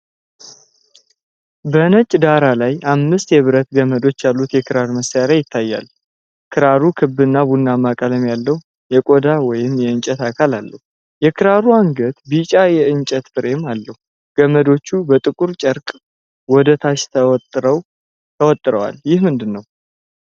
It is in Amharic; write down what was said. በነጭ ዳራ ላይ አምስት የብረት ገመዶች ያሉት የክራር መሣሪያ ይታያል። ክራሩ ክብና ቡናማ ቀለም ያለው የቆዳ ወይም የእንጨት አካል አለው። የክራሩ አንገት ቢጫ የእንጨት ፍሬም አለው። ገመዶቹ በጥቁር ጨርቅ ወደ ታች ተወጥረዋል። ይህ ምንድነው?